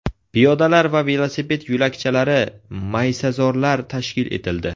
Piyodalar va velosiped yo‘lakchalari, maysazorlar tashkil etildi.